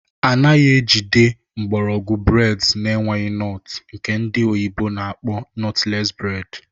Anaghị ejigide mgbọrọgwụ breds n'enweghị nọtụ nke ndị oyibo na-akpọ nọtles bred